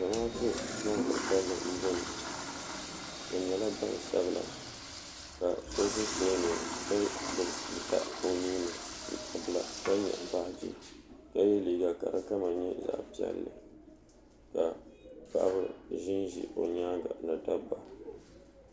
Zamaatu ban ka kalli n ʒia bɛ nyɛla gbansabila ka so ʒi tooni ka gbibi tuuta o nuuni tuuta bila ka nyaɣi baaji ka ye liiga ka di kala nyɛ zaɣa piɛlli ka paɣaba ʒinʒi o nyaanga ni dobba.